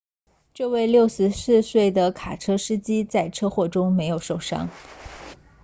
这位64岁的卡车司机在车祸中没有受伤